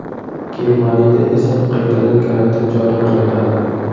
Germaniyda esa qaytadan karantin joriy qilinadi.